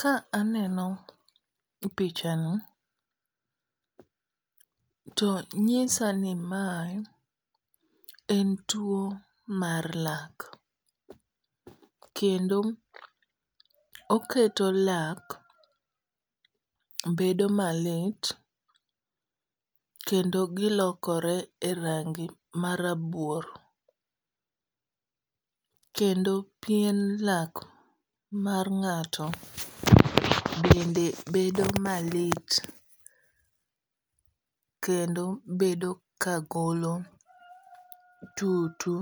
Ka aneno picha ni to nyisa ni mae en tuo mar lak. Kendo oketo lak bedo malit kendo gilokore e rangi ma rabuor. Kendo pien lak mar ng'ato bende bedo malit kendo bedo ka golo tutu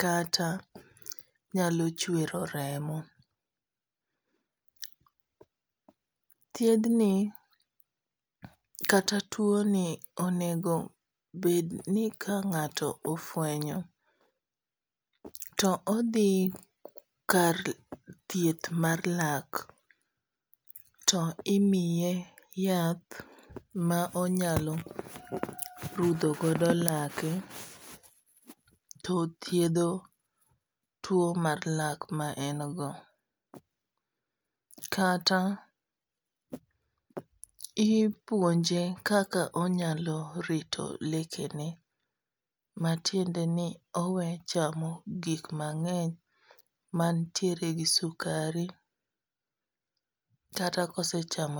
kata nyalo chwero remo. Thiedh ni kata tuo ni onego bed ni ka ng'ato ofwenyo to odhi kar thieth mar lak to imiye yath ma onyalo rudho godo lake to thiedho tuo mar lak ma en go. Kata ipuonje kaka onyalo rito lekene. Matiende ni owe chamo gik mang'eny mantiere gi sukari. Kata kosechamo,